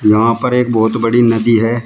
यहां पर एक बहोत बड़ी नदी है।